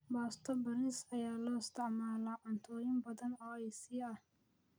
Baasto bariiska ayaa loo isticmaalaa cuntooyin badan oo Aasiya ah.